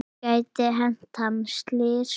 Það gæti hent hann slys.